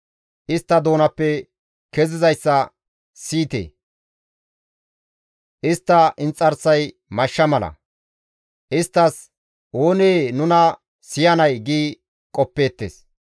Istta doonappe kezizayssa siyite! istta inxarsay mashsha mala; istti, «Oonee nuna siyanay?» gi qoppeettes.